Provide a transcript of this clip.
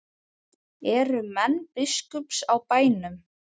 Eru menn biskups á bænum?